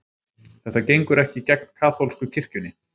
Þetta gengur ekki gegn kaþólsku kirkjunni